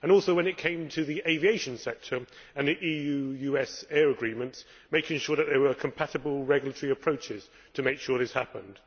Also when it came to the aviation sector and the EU US air agreements, making sure that they were compatible regulatory approaches, making sure this happened.